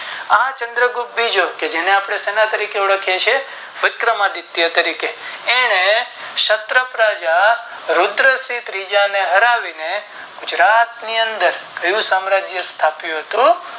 આ ચંદ્રગુપ્ત બીજો જેને આપણે શેના તરીકે ઓળખીયે છીએ વિક્રમાદિત્ય તરીકે એને ક્ષત્ર પ્રજા રુદ્રસિંહ ને હરાવી ત્રીજા ને ગુજરાત ની અંદર કયું સામ્રાજ્ય સ્થાપ્યું હતું.